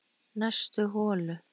Næstu holu